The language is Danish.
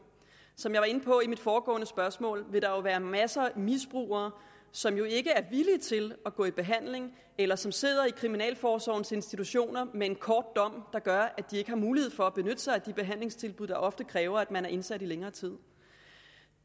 som jeg var inde på i mit foregående spørgsmål vil der være masser af misbrugere som ikke er villige til at gå i behandling eller som sidder i kriminalforsorgens institutioner med en kort dom der gør at de ikke har mulighed for at benytte sig af de behandlingstilbud der ofte kræver at man er indsat i længere tid